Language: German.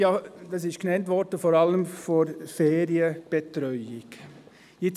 Es wurde vor allem die Ferienbetreuung genannt.